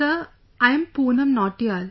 Sir, I am Poonam Nautiyal